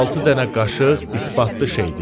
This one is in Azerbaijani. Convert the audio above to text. Altı dənə qaşıq isbatlı şeydir.